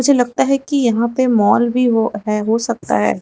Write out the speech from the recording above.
मुझे लगता है कि यहां पे मॉल भी वह है हो सकता है।